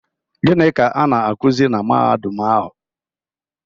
Gịnị ka a na-akuzi na Mahadum ahụ?